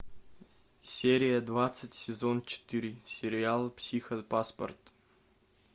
серия двадцать сезон четыре сериал психопаспорт